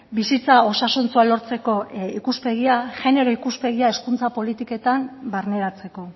bizitza osasuntsua lortzeko ikuspegia genero ikuspegia hezkuntza politiketan barneratzeko